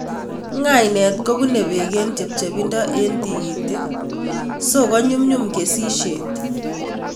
Ng'aniek ko pune peek eng' chepcheindo eng' tigitik, siko nyumnyum kesishet